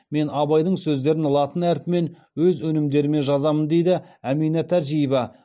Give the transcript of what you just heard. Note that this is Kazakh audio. мен абайдың сөздерін латын әрпімен өз өнімдеріме жазамын дейді әмина тәжиева